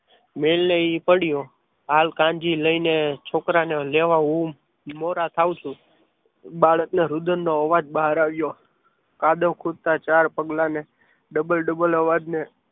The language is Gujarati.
ને એ પડ્યો હાલ કાનજી છોકરાને લેવા મોડા થાવ છું બાળકના રુદન નો અવાજ બહાર આવ્યો કાદવ ખોદતા ચાર પગલાને ડબલ ડબલ અવાજને